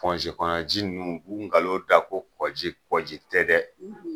kɔnɔ ji ninnu k'u nkalon da ko kɔ ji, kɔ ji tɛ dɛ